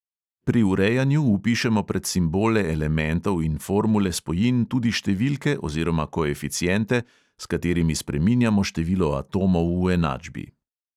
Pri urejanju vpišemo pred simbole elementov in formule spojin tudi številke oziroma koeficiente, s katerimi spreminjamo število atomov v enačbi.